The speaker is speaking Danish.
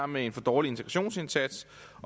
med en for dårlig integrationsindsats